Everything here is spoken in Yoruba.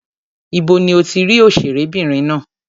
Ibo ni o ti rí òṣèré obìnrin ná?